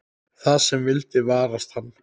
Það sem vildi varast hann.